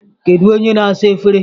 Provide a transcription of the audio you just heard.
Kedu onye na-asa efere?